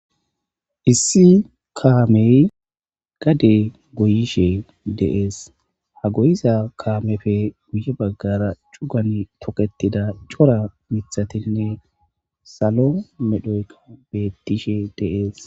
Issi kaamey gade goyishe deees ha goyiza kaamefe guye baggara cugan tokketida cora mithatinne salo medhoykka bettishe deees.